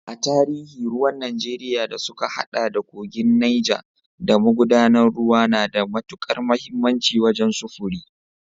A tarihi, ruwan Najeriya da suka haɗa da kogin Neja da magudanan ruwa na da matukar muhimmanci wajen sufuri.